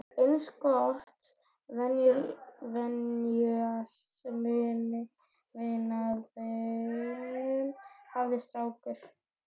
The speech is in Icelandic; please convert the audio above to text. Eins gott að venjast munaðinum, hafði strákur